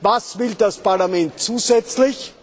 Was will das Parlament zusätzlich?